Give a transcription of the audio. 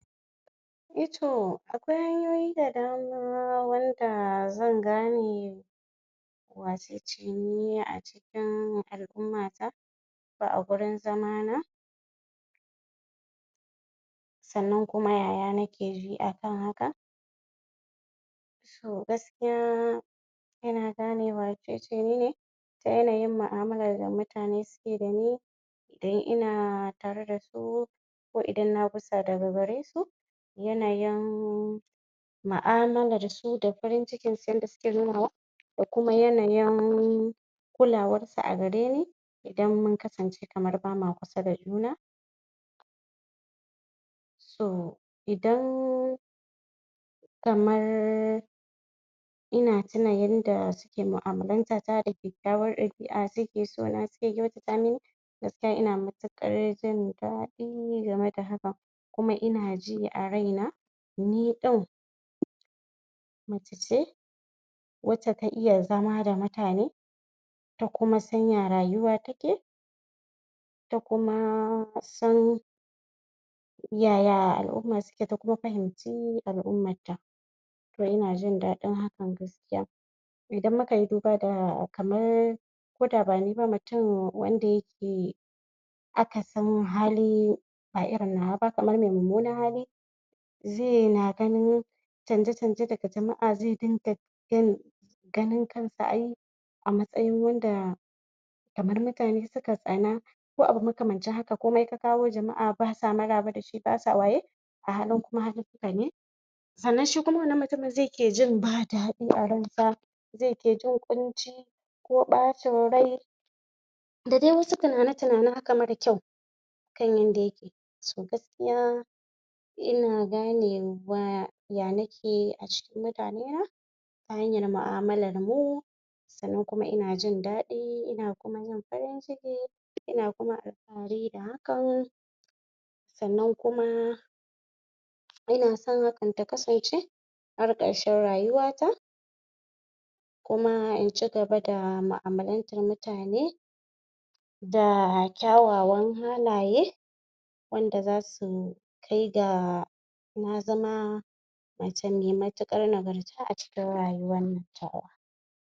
E to akwai hanyoyi da dama wanda zan gane wacece ni a cikin al'umma ta ko gurin zama na sannan kuma yaya nake ji akan haka to gaskiya yana gane wacece ni ta yanayin mu'amalar da mutane suke yi da ni da ina tare da su ko idan na gusa daga garesu yanayin mu'amalar su da farin cikin su yadda suke nunawa da kuma yanayin kulawar su a gareni idan mun kasance kamar ba ma kusa da juna to idan kamar ina tuna yanda suke mu'amalanta ta da kyakkyawar ɗabi'a suke so na suke kyautata mini gaskia ina matuƙar jin daɗi game da hakan kuma ina ji a raina ni ɗin mace ce wacce ta iya zama da mutane ta kuma san ya rayuwa take ta kuma san yaya al'umma suke kuma ta fahimci al'ummar ta to ina jin daɗin hakan gaskiya idan muka yi duba da kamar koda ba ni ba mutum wanda yake akasin hali ba irin nawa ba kamar mai mummunar hali zai na gani canje canje daga jama'a zai dinga? ganin kansa ai a matsayin wanda kamar mutane suka taana ko abu makamancin haka komai ka kawo jama'a ba sa maraba da shi ba sa waye alhalin kuma halinka ne sannan shi kuma wannan mutumin zai ke jin ba daɗi a ransa zai ke jin ƙunci ko ɓacin rai da dai wasu tunani tunani haka mara kyau nan dai so gaskiya ina ganewa ya nake a cikin mutane na ta hanyar mu'amalar mu sannan kuma ina jin daɗi ina kuma jin farin ciki ina kuma alfahari da hakan sannan kuma ina son hakan ta kasance har ƙarshen rayuwata kuma in cigaba da mu'amalantar mutane da kyawawan halaye wanda zasu kai ga na zama mace mai matuƙar nagarta a ciki rayuwannan tawa.